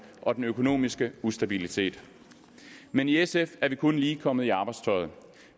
og den økonomiske ustabilitet men i sf er vi kun lige kommet i arbejdstøjet